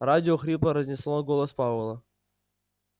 радио хрипло разнесло голос пауэлла